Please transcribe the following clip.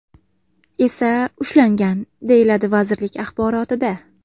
esa ushlangan”, deyiladi vazirlik axborotida.